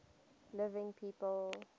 living people